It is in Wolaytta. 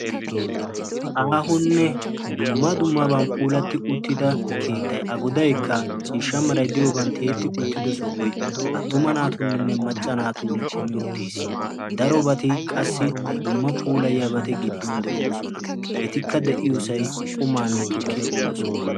Aahonne dumma dummaban puulatti uttida keettayi a godaykka ciishsha merayi diyoban tiyetti uttido sohoyi attuma naatuuninne macca naatun kumi uttis. Darobati qassi dumma puulayiyabati giddon de"oosona. Etikka de"iyosayi qumaanne tukkiya uyiyo sohuwa.